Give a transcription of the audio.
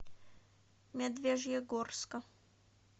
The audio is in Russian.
медвежьегорска